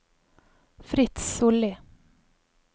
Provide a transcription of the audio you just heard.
Fritz Sollie